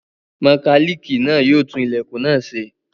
Mọkálíìkì náà yóò tún ilẹ̀kùn náà ṣe.